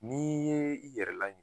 N'i ye i yɛrɛ laɲinɛ .